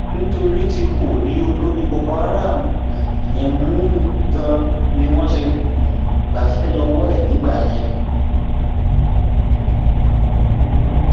nítorí tí kò rí olórí boko um haram yẹn mú ganan ni wọn ṣe um gbàṣẹ lọwọ ẹ nígbà yẹn